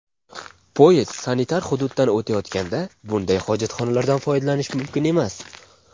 Poyezd sanitar hududdan o‘tayotganda bunday hojatxonalardan foydalanish mumkin emas.